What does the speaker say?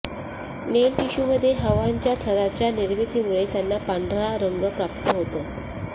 नेल tissue मध्ये हवाांच्या थरांच्या निर्मितीमुळे त्यांना पांढरा रंग प्राप्त होतो